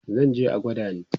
zanje a gwada ni